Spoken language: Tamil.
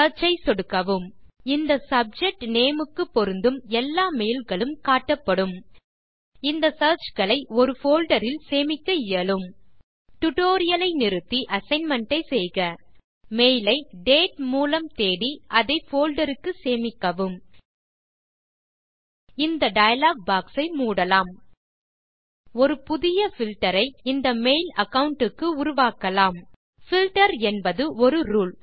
சியர்ச் ஐ சொடுக்கவும் இந்த சப்ஜெக்ட் நேம் க்கு பொருந்தும் எல்லா மெயில் களும் காட்டப்படும் இந்த சியர்ச் களை ஒரு போல்டர் இல் சேமிக்க இயலும் டியூட்டோரியல் ஐ நிறுத்தி அசைன்மென்ட் ஐ செய்க மெயில் ஐ டேட் மூலம் தேடி அதை போல்டர் க்கு சேமிக்கவும் இந்த டயலாக் பாக்ஸ் ஐ மூடலாம் ஒரு புதிய பில்ட்டர் ஐ இந்த மெயில் அகாவுண்ட் க்கு உருவாக்கலாம் பில்ட்டர் என்பது ஒரு ரூல்